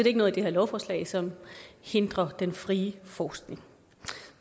ikke noget i det her lovforslag som hindrer den frie forskning